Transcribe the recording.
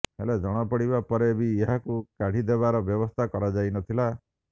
ହେଲେ ଜଣାପଡିବା ପରେ ବି ଏହାକୁ କାଢିଦେବାର ବ୍ୟବସ୍ଥା କରାଯାଇନଥିଲା